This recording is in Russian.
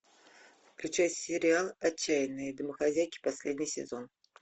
включай сериал отчаянные домохозяйки последний сезон